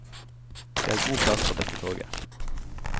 Det er god plass på dette toget.